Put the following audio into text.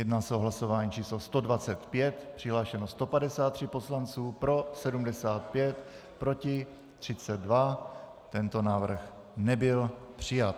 Jedná se o hlasování číslo 125, přihlášeno 153 poslanců, pro 75, proti 32, tento návrh nebyl přijat.